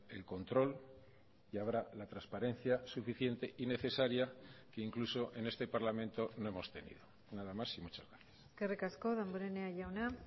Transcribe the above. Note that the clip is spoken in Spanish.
el control y habrá la transparencia suficiente y necesaria que incluso en este parlamento no hemos tenido nada más y muchas gracias eskerrik asko damborenea jauna